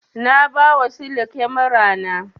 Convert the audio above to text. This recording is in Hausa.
Na ba wa sale kyamar na